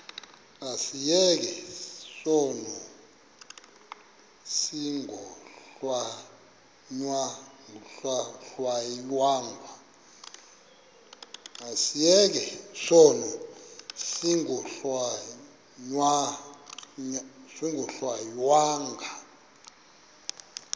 asiyeke sono smgohlwaywanga